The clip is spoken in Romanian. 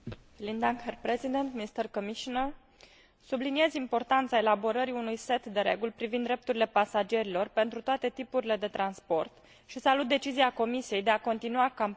Subliniez importanța elaborării unui set de reguli privind drepturile pasagerilor pentru toate tipurile de transport și salut decizia Comisiei de a continua campania de informare privind drepturile pasagerilor până în